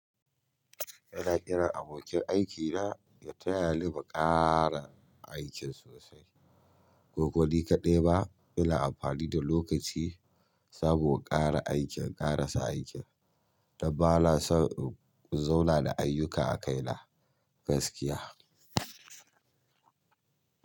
Ina kirar abokin aikina ya tayani mu ƙara aikin sosai. Kokoni kaɗai ma ina amfani da lokaci in samu ƙara aikin, ƙara lsa aikin. Dabbana son zauna da ayyuka a kaina gaskiya.